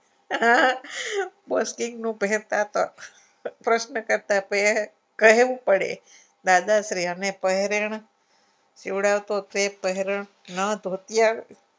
આ આ બોસકીનું પહેરતા હતા પ્રશ્ન કરતાં કહે કહેવું પડે દાદાશ્રી અને પહેરણ જોડાઓ તો તે પહેરણ ના ધોતિયા